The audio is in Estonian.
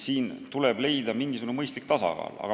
Nii et tuleb leida mingisugune mõistlik tasakaal.